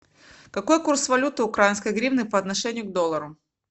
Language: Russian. какой курс валюты украинской гривны по отношению к доллару